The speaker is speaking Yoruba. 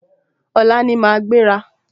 Ọ̀la ní a máa gbéra